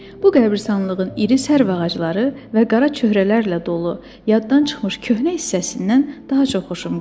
Bu qəbiristanlığın iri sərv ağacları və qara çöhrələrlə dolu, yaddan çıxmış köhnə hissəsindən daha çox xoşuma gəlir.